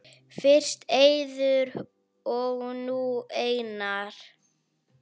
Fyrst Eiður og nú Einar??